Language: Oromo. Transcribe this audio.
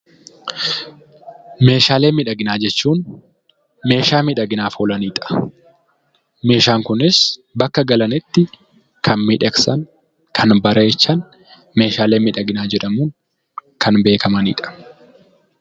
Meeshaalee miidhaginaa jechuun meeshaa miidhaginaaf oolanidha. Meeshaan kunis bakka galanitti, kan miidhagsan yookiin kan bareechan meeshaalee miidhaginaa jedhamuun kan beekamanidha.